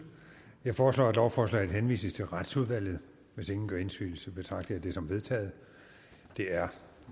jeg foreslår at lovforslaget henvises til retsudvalget hvis ingen gør indsigelse betragter jeg det som vedtaget det er